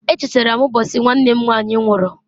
E chatara m mbosi nwanne m nwanyị nwụru.